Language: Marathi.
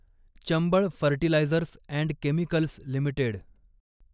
Chambal fertilisers and chemicals limited